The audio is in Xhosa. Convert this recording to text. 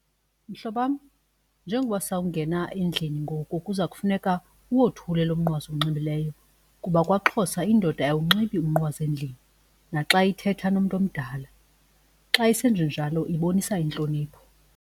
Mhlobam njengoba sakungena endlini ngoku kuza kufuneka uwothule lo mnqwazi uwunxibileyo kuba kwaXhosa indoda ayiwunxibi umnqwazi endlini naxa ithetha nomntu omdala. Xa isenje njalo ibonisa intlonipho.